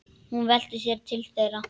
Hún velti sér til þeirra.